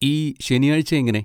ഈ ശനിയാഴ്ച എങ്ങനെ?